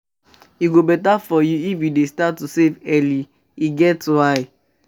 E go beta for you if you start to dey save early e get why.